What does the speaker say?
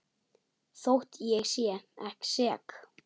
Þótt ég sé sek.